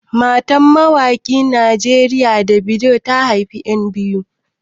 Matan mawaƙin Najeriya Davido, ta haifi 'yan biyu.